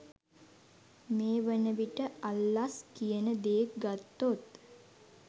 මේ වනවිට අල්ලස් කියන දේ ගත්තොත්